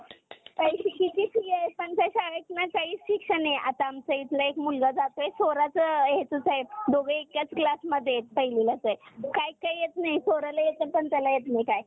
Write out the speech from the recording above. पण त्या शाळेत ना काहीच शिक्षण नाहीये आता आमचा इथला एक मुलगा जातोय सोराच हेच च हाय दोघ एकाच classध्ये आहेत पहिलीलाच आहे काय येत नाही स्वराला येतंय पण त्याला येत नाही काही